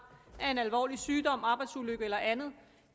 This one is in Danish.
af en alvorlig sygdom en arbejdsulykke eller andet